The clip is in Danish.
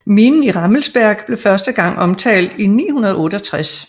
Minen i Rammelsberg blev første gang omtalt i 968